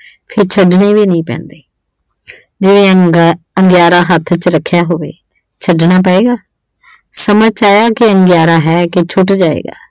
ਫਿਰ ਛੱਡਣੇ ਵੀ ਨਹੀਂ ਪੈਂਦੇ ਜੇ ਅੰਗਿਆ ਅਹ ਅੰਗਿਆਰਾ ਹੱਥ ਵਿੱਚ ਰੱਖਿਆ ਹੋਵੇ ਛੱਡਣਾ ਪਵੇਗਾ। ਸਮਾਂ ਚਾਇਆ ਕਿ ਅੰਗਿਆਰਾ ਹੈ ਕਿ ਛੁੱਟ ਜਾਏਗਾ